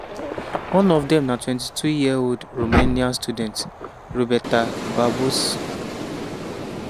one of dem na 22-year-old romanian student roberta barbos.